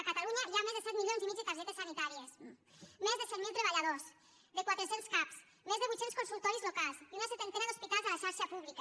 a catalunya hi ha més de set milions i mig de targetes sanitàries més de set mil treballadors de quatre cents cap més de vuit cents consultoris locals i una setantena d’hospitals a la xarxa pública